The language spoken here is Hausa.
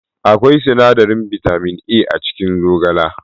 Akwai sinadarin bitamin A a cikin zogale